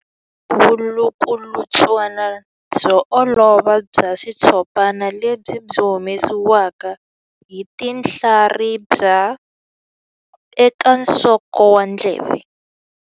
Vulukulutswana byo olova bya xitshopana lebyi byi humesiwaka hi tinhlaribya eka nsoko wa ndleve.